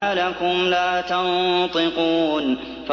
مَا لَكُمْ لَا تَنطِقُونَ